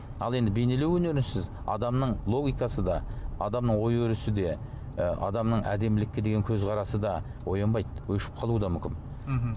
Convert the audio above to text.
ал енді бейнелеу өнерінсіз адамның логикасы да адамның ой өрісі де ы адамның әдемілікке деген көзқарасы да оянбайды өшіп қалуы да мүмкін мхм